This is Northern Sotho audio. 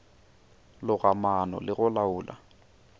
loga maano le go laola